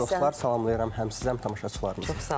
Xoş gördük dostlar, salamlayıram həm sizə, həm tamaşaçılarımızı.